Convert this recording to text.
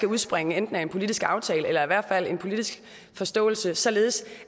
udspringe af enten en politisk aftale eller i hvert fald en politisk forståelse således